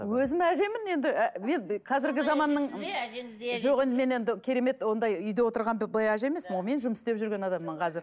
өзім әжемін енді қазіргі заманның жоқ енді мен енді керемет ондай үйде отырған былай әже емеспін ғой мен жұмыс істеп жүрген адаммын қазір